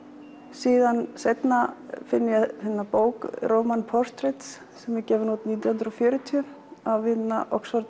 síðan seinna finn ég bók portrett sem er gefin út nítján hundruð og fjörutíu af Oxford